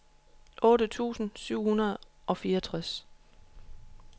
otte tusind syv hundrede og fireogtres